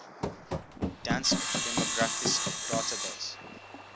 dansk demografisk database